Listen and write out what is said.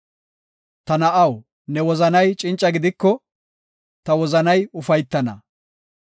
Ta na7aw, ne wozanay cinca gidiko, ta wozanay ufaytana.